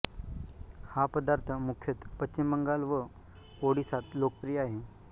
हा पदार्थ मुख्यतः पश्चिम बंगाल व ओडिसात लोकप्रिय आहे